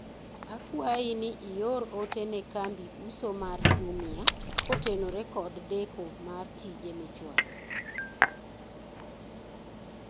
akwayi ni ior ote ne kambi uso mar jumia kotenore kod deko mar tije michwalo